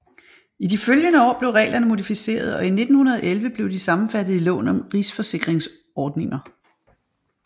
I de følgende år blev reglerne modificeret og i 1911 blev de sammenfattet i loven om rigsforsikringsordninger